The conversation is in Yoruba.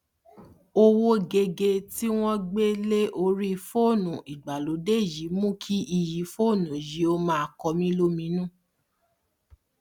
owó geegee tí wọn gbé lé orí fóònù ìgbàlódé yìí mú kí iyì fóònù yìí ó máa kọmílóminú